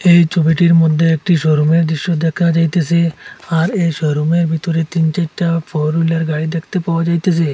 এই ছবিটির মধ্যে একটি শোরুমের দৃশ্য দেখা যাইতেসে আর এই শোরুমের ভিতরে তিন চারটা ফোর হুইলার গাড়ি দেখতে পাওয়া যাইতেসে।